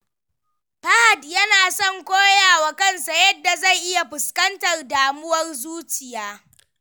Fahad yana son koya wa kansa yadda zai iya fuskantar damuwar zuciya.